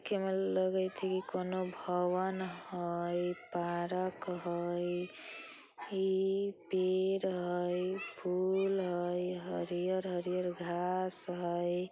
के में लगइत हाई कोनो भवन हई पारक हाई इ पेड़ हाई फूल हई हरियर-हरियर घास हई।